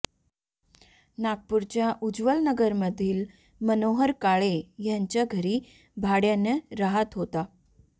नागपूरच्या उज्ज्वल नगरमधील मनोहर काळे यांच्या घरी भाड्यानं राहत होता